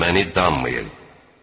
Məni danmayın.